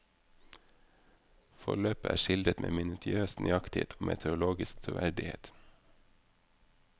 Forløpet er skildret med minutiøs nøyaktighet og meteorologisk troverdighet.